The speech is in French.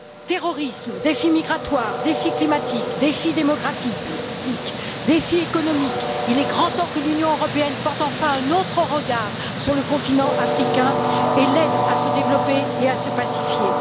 Terrorisme, défi migratoire, défi climatique, défi démocratique, défi économique Il est grand temps que l'Union européenne porte enfin un autre regard sur le continent africain et l'aide à se développer et à se pacifier.